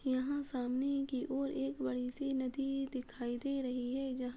यहाँ सामने एक की और एक बड़ी सी नदी दिखाई दे रही है जहां --